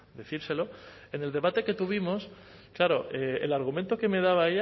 decírselo en el debate que tuvimos claro el argumento que me daba